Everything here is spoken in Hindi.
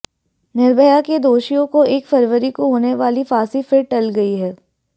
निर्भया के दोषियों को एक फरवरी को होने वाली फांसी फिर टल गई है